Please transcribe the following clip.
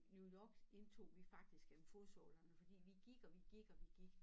New York indtog vi faktisk gennem fodsålerne fordi vi gik og vi gik og vi gik